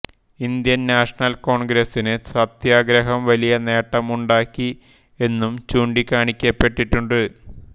Indian National കോൺഗ്രസിന് സത്യാഗ്രഹം വലിയ നേട്ടം ഉണ്ടാക്കി എന്നും ചൂണ്ടിക്കാണിക്കപ്പെട്ടിട്ടുണ്ട്